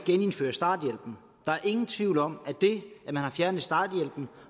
genindføre starthjælpen der er ingen tvivl om at det at man har fjernet starthjælpen